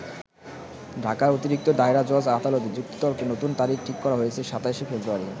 ঢাকার অতিরিক্ত দায়রা জজ আদালতে যুক্তিতর্কে নতুন তারিখ ঠিক করা হয়েছে ২৭শে ফেব্রুয়ারি।